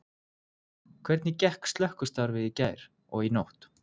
Hvernig gekk slökkvistarfið í gærkvöldi og í nótt?